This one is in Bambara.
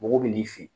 Mɔgɔ bɛ n'i fɛ yen